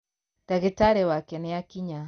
Ndagītarī wake nīakinya.